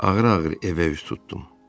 Ağıra-ağır evə üz tutdum.